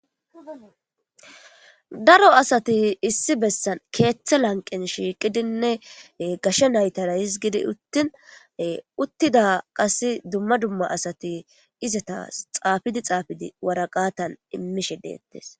daro asati issi bessan keeththe lanqen shiiqidinne gashshe naytara hizgidi uttin uttida qas dumma dumma asati izata xaafidi xaafidi waraqatan immishe deettes